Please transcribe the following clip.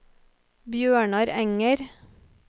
Bjørnar Enger